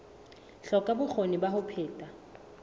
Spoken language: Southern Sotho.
hloka bokgoni ba ho phetha